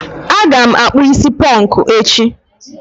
Aga m akpụ is ponku echi.